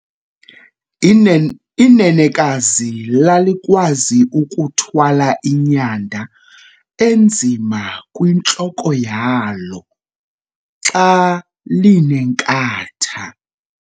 inenekazi lalikwazi ukuthwala inyanda enzima kwintloko yalo xa linenkatha